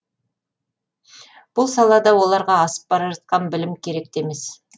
бұл салада оларға асып бара жатқан білім керек те емес